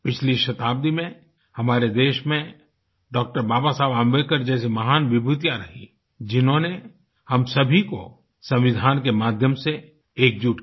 पिछली शताब्दी में हमारे देश में डॉ बाबासाहब अम्बेडकर जैसी महान विभूतियाँ रहीं हैं जिन्होंने हम सभी को संविधान के माध्यम से एकजुट किया